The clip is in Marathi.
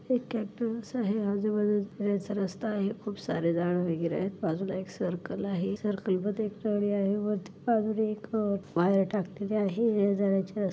एक कॅटल्स आहे आजूबाजूला जाण्याचा रस्ता आहे खूप सारे झाड वगैरे आहेत बाजूला एक सर्कल आहे सर्कल मध्ये एक प्राणी आहे वरती बाजूला एक वायर टाकलेली आहे येण्याजाण्याची रस्ते--